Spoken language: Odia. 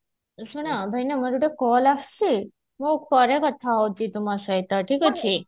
ଶୁଣ ଭାଇନା ମୋର ଗୋଟେ call ଆସୁଛି ମୁଁ ପରେ କଥା ହଉଛି ତୁମ ସହିତ ଠିକ ଅଛି